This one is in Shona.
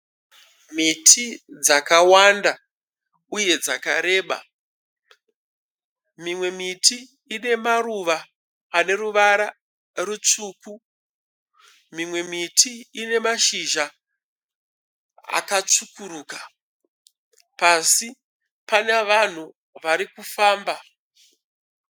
Miti dzakawanda uye dzakareba, mimwe miti ine maruva ane ruvara rutsvuku, mimwe miti ine mashizha akatsvukuruka. Pasi pana vanhu vari kufamba.